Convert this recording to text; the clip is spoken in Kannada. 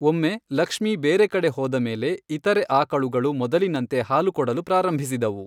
ಒಮ್ಮೆ ಲಕ್ಷ್ಮೀ ಬೇರೆ ಕಡೆ ಹೋದ ಮೇಲೆ, ಇತರೆ ಆಕಳುಗಳು ಮೊದಲಿನಂತೆ ಹಾಲು ಕೊಡಲು ಪ್ರಾರಂಭಿಸಿದವು.